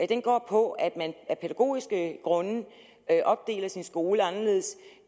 den går på at man af pædagogiske grunde opdeler sin skole anderledes